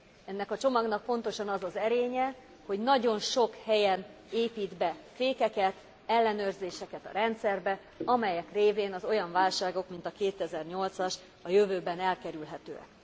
Ennek a csomagnak pontosan az az erénye, hogy nagyon sok helyen épít be fékeket, ellenőrzéseket a rendszerbe, amelyek révén az olyan válságok, mint a 2008 as, a jövőben elkerülhetőek.